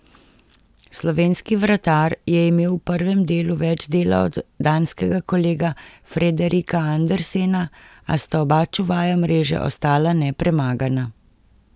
Slovenski vratar je imel v prvem delu več dela od danskega kolega Frederika Andersena, a sta oba čuvaja mreže ostala nepremagana.